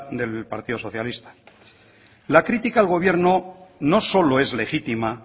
del partido socialista la crítica al gobierno no solo es legítima